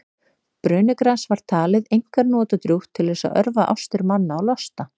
brönugras var talið einkar notadrjúgt til þess að örva ástir manna og losta